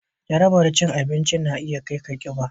Jarabar abinci na iya kai ga kiba